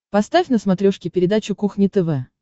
поставь на смотрешке передачу кухня тв